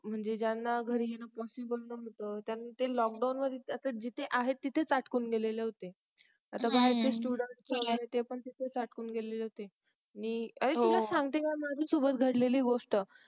म्हणजे ज्यांना घर ही नव्हते ते lockdown मध्ये जिथे आहेत तिथेच अटकून गेले होते students पण अटकून गेले होते मी हो सुरूवातीला घडलेली गोस्ट